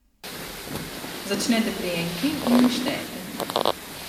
Začnete pri enki in štejete.